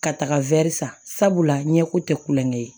Ka taga san sabula ɲɛko tɛ kulonkɛ ye